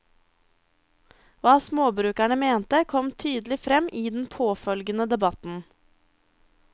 Hva småbrukerne mente, kom tydelig frem i den påfølgende debatten.